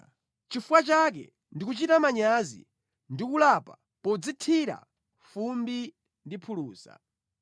Nʼchifukwa chake ndi kuchita manyazi, ndikulapa podzithira fumbi ndi phulusa.”